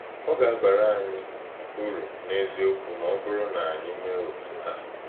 Ọ̀ ga-abàrá anyị ùrù n’eziokwu ma ọ bụrụ̀ na anyị emee otú ahụ.